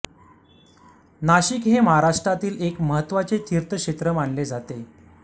नाशिक हे महाराष्ट्रातील एक महत्त्वाचे तीर्थक्षेत्र मानले जाते